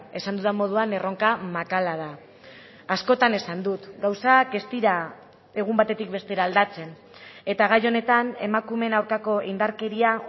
esan dudan moduan erronka makala da askotan esan dut gauzak ez dira egun batetik bestera aldatzen eta gai honetan emakumeen aurkako indarkeria